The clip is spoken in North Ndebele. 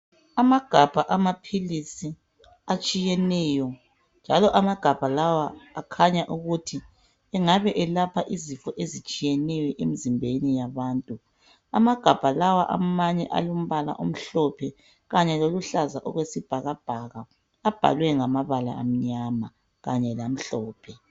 Amagabha amapilisi atshiyeneyo. Njalo amagabha lawa akhanya ukuthi engabe elapha izifo ezitshiyeneyo emzimbeni yabantu. Amagabha lawa amanye alombala omhlophe kanye loluhlaza okwesibhakabhaka, abhalwe ngamabala amnyama kanye lamhlophe.